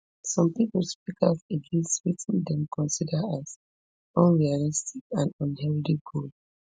some pipo speak out against wetin dem consider as unrealistic and unhealthy goal